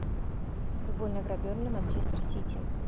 футбольная игра бернли манчестер сити